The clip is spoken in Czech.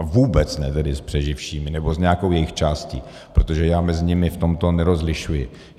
A vůbec ne tedy s přeživšími nebo s nějakou jejich částí, protože já mezi nimi v tomto nerozlišuji.